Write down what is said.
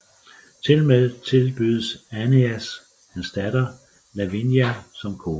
Tilmed tilbydes Æneas hans datter Lavinia som kone